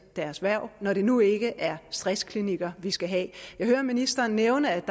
deres hverv når det nu ikke er stressklinikker vi skal have jeg hører ministeren nævne at der